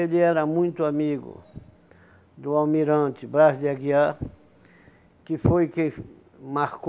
Ele era muito amigo do almirante Brás de Aguiar, que foi quem hum marcou